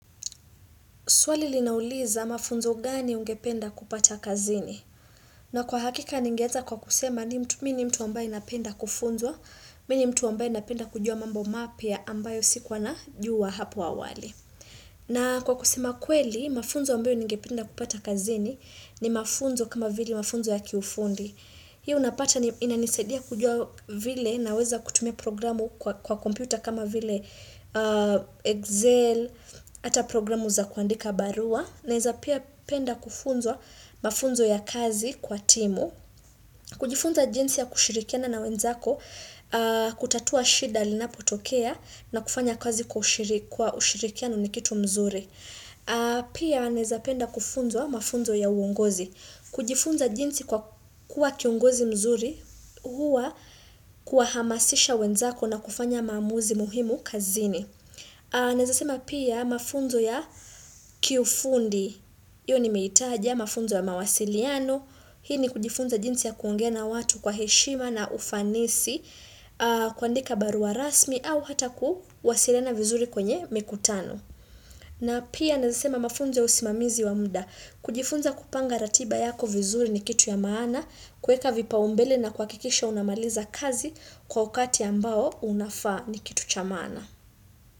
Swali linauliza mafunzo gani ungependa kupata kazini. Na kwa hakika ningeanza kwa kusema ni mtu mimi mtu ambaye napenda kufunzwa, mimi ni mtu ambaye napenda kujua mambo mapya ambayo sikua najua hapo awali. Na kwa kusema kweli, mafunzo ambayo ningependa kupata kazini ni mafunzo kama vili mafunzo ya kiufundi. Hii unapata inanisadia kujua vile naweza kutumia programu kwa kompyuta kama vile Excel, hata programu za kuandika barua. Naeza pia penda kufunzwa mafunzo ya kazi kwa timu kujifunza jinsi ya kushirikiana na wenzako kutatua shida linapotokea na kufanya kazi kwa ushiriki kwa ushirikiano ni kitu mzuri Pia naeza penda kufunzwa mafunzo ya uongozi kujifunza jinsi kwa kuwa kiongozi mzuri Huwa kuhamasisha wenzako na kufanya maamuzi muhimu kazini Naeza sema pia mafunzo ya kiufundi Iyo nimeitaja mafunzo ya mawasiliano, hii ni kujifunza jinsi ya kuongea na watu kwa heshima na ufanisi, kuandika barua rasmi au hata kuwasiliana vizuri kwenye mikutano. Na pia naeza sema mafunzo ya usimamizi wa mda, kujifunza kupanga ratiba yako vizuri ni kitu ya maana, kueka vipaumbele na kuhakikisha unamaliza kazi kwa ukati ambao unafaa ni kitu cha maana.